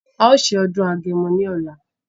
A o ṣe ajọdun Agẹmọ ní ọlá